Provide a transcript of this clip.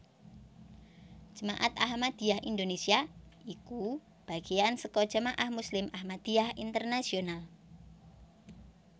Jemaat Ahmadiyah Indonésia iku bagéan saka Jamaah Muslim Ahmadiyah Internasional